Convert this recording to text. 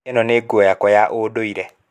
ino nĩ nguo yakwa ya ũndũire.